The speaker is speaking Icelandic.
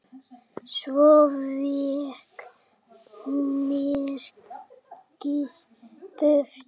Svo vék myrkrið burt.